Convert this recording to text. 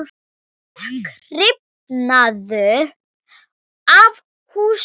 Þök rifnuðu af húsum.